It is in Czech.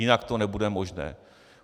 Jinak to nebude možné.